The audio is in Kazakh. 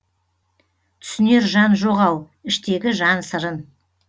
түсінер жан жоқ ау іштегі жан сырын